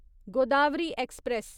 Godavari express